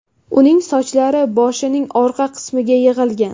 Uning sochlari boshining orqa qismiga yig‘ilgan.